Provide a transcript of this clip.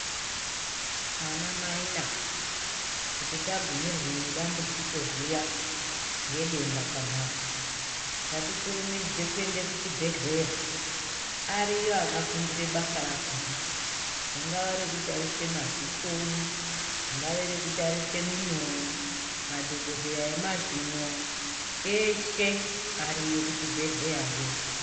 Ana mai nana kana tagumirwe nedambudzijo zviya nedenda pambatso ngatikurumidze kuenda kuchibhedhleya ariyo akafundire basa rakona ringave rekutarise madziso ringave rekutarise mhino madhokoteya emazino eshee ariyo kuchibhedhleya yoo.